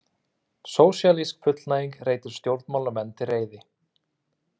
Sósíalísk fullnæging reitir stjórnmálamenn til reiði